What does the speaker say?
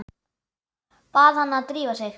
Bað hana að drífa sig.